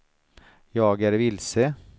jag är vilse